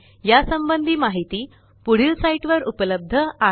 या संबंधी माहिती पुढील साईटवर उपलब्ध आहे